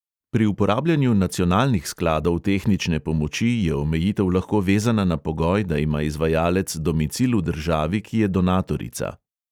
Pri uporabljanju nacionalnih skladov tehnične pomoči je omejitev lahko vezana na pogoj, da ima izvajalec domicil v državi, ki je donatorica.